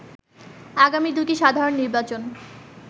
আগামী দুটি সাধারণ নির্বাচন